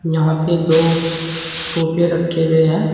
यहां पे दो सोफे रखे हुए हैं।